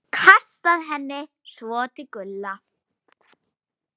Nú hlærðu, lágum hrjúfum hlátri.